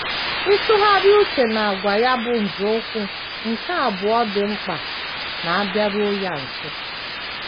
Ịtụgharị uche n’àgwà ya bụ nzọụkwụ nke abụọ dị mkpa n’ịbịaru ya nso.